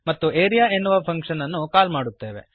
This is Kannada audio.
ಮತ್ತು ಆರಿಯಾ ಎನ್ನುವ ಫಂಕ್ಶನ್ ಅನ್ನು ಕಾಲ್ ಮಾಡುತ್ತೇವೆ